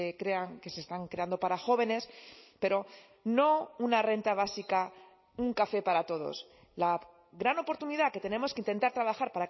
crean que se están creando para jóvenes pero no una renta básica un café para todos la gran oportunidad que tenemos que intentar trabajar